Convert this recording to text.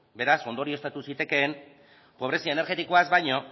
beraz ondorioztatu zitekeen pobrezia energetikoaz baino